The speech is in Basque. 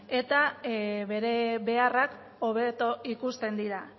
eta bere beharrak hobeto ikusten dira